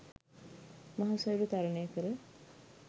මහ සයුර තරණය කර